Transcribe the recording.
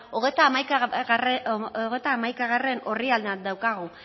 hogeita hamaikagarrena orrialdean daukagu